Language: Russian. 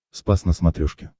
спас на смотрешке